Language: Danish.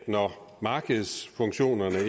når markedsfunktionerne